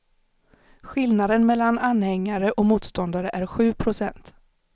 Skillnaden mellan anhängare och motståndare är sju procent.